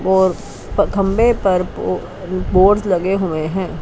वो खंभे पर बोर्ड्स लगे हुए हैं।